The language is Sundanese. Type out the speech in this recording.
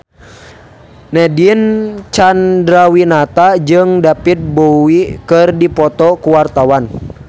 Nadine Chandrawinata jeung David Bowie keur dipoto ku wartawan